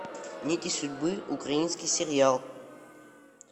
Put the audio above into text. нити судьбы украинский сериал